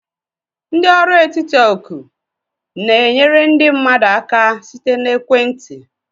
Ndị ọrụ etiti oku na-enyere ndị mmadụ aka site na ekwentị.